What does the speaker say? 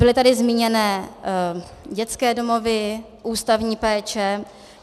Byly tady zmíněny dětské domovy, ústavní péče.